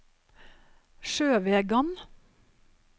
Sjøvegan